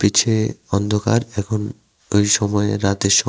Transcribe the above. নিচে অন্ধকার এখন এই সময় রাতের সম--